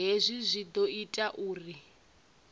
hezwi zwi ḓo ita uri